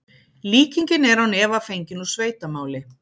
líkingin er án efa fengin úr sveitamáli